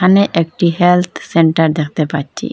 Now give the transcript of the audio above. এহানে একটি health centre দেখতে পাচ্চি।